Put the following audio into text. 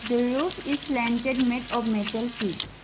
the roof is slanded met of metal sheets.